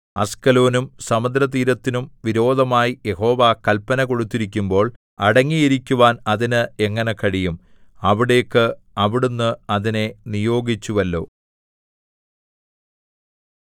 അസ്കലോനും സമുദ്രതീരത്തിനും വിരോധമായി യഹോവ കല്പന കൊടുത്തിരിക്കുമ്പോൾ അടങ്ങിയിരിക്കുവാൻ അതിന് എങ്ങനെ കഴിയും അവിടേക്ക് അവിടുന്ന് അതിനെ നിയോഗിച്ചുവല്ലോ